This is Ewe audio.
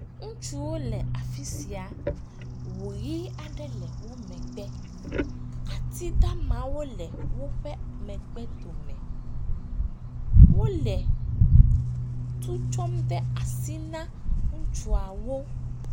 Ŋutsuwo le afi sia, ŋu ʋi aɖe le wo megbe atidamawo le woƒe megbe dome. Wole tu tsɔm de asi na ŋutsuawo.